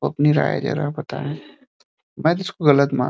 और अपनी राय जरा बताएं। मै तो इसको गलत मान --